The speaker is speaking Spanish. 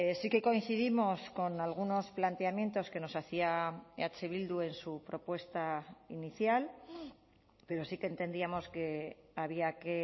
sí que coincidimos con algunos planteamientos que nos hacía eh bildu en su propuesta inicial pero sí que entendíamos que había que